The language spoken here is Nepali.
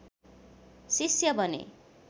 शिष्य बने